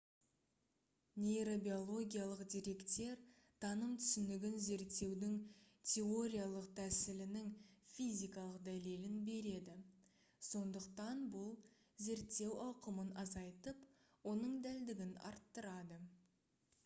нейробиологиялық деректер таным түсінігін зерттеудің теориялық тәсілінің физикалық дәлелін береді сондықтан бұл зерттеу ауқымын азайтып оның дәлдігін арттырады